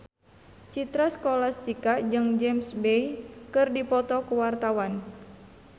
Citra Scholastika jeung James Bay keur dipoto ku wartawan